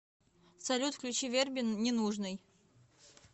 салют включи верби ненужный